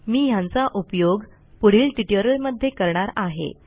मी ह्यांचा उपयोग पुढील ट्युटोरियलमध्ये करणार आहे